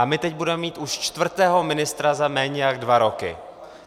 A my teď budeme mít už čtvrtého ministra za méně než dva roky.